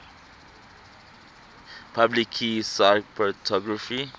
public key cryptography